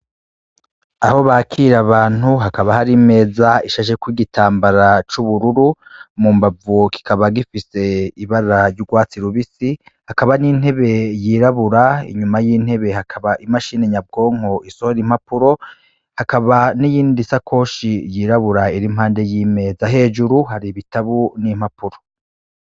Aho bakirira abantu hakaba hari imeza ishasheko igitambara c'ubururu mu mbavu kikaba gifise ibara ry'ugwatsi rubisi hakaba n'intebe yirabura inyuma y'intebe hakaba imashini nyabwonko isohora impapuro, hakaba n'iyindi sakoshi yirabura irimpande y'imeza hejuru hari ibitabo n'impapuro.